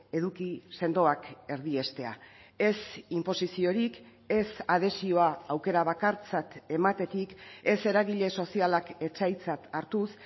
eduki sendoak erdiestea ez inposiziorik ez adhesioa aukera bakartzat ematetik ez eragile sozialak etsaitzat hartuz